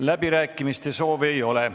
Läbirääkimiste soove ei ole.